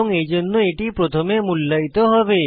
এবং এইজন্য এটি প্রথমে মূল্যায়িত হবে